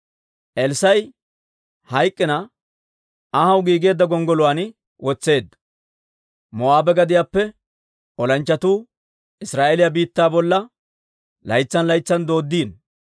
Elssaa'i hayk'k'ina anhaw giigeedda gonggoluwaan wod'd'eedda. Moo'aabe gadiyaappe olanchchatuu Israa'eeliyaa biittaa bolla laytsan laytsan doodiino.